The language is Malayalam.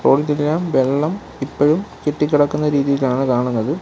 വെള്ളം ഇപ്പഴും കെട്ടികിടക്കുന്ന രീതിയിലാണ് കാണുന്നത്.